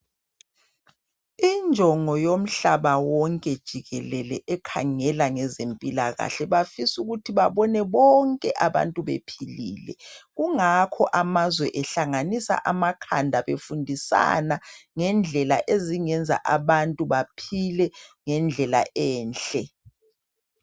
Injongo yomhlaba wonke jikelele ekhangela ngezempilakahle, bafis' ukuthi babone bonke abantu bephilile, kungakho amazwe ehlanganisa amakhanda, befundisana ngendlela ezingenza abantu baphile ngendlela enhle.